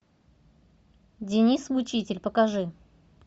деннис мучитель покажи